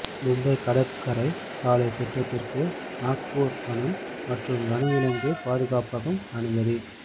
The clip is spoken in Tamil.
மும்பை கடற்கரை சாலை திட்டத்திற்கு நாக்பூர் வனம் மற்றும் வனவிலங்கு பாதுகாப்பகம் அனுமதி